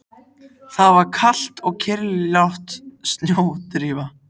Það var kalt og kyrrlát snjódrífa.